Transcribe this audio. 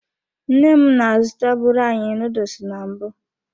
Nne m na-azụtabụrụ anyị nuduls na mbụ.